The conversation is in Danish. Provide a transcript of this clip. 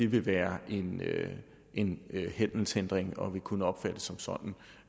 ville være en handelshindring og ville kunne opfattes som sådan